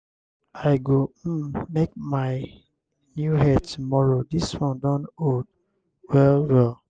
i go um make new hair tomorrow dis one don old well-well.